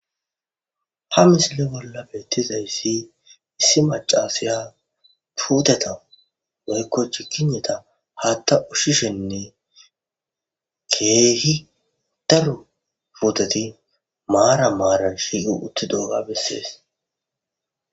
ha misile bolla beettizayssi issi macasiya puudeta meykoch kineta hatta ushshishenne keehi daru puteti maara maaran shiyu utti dooga bessees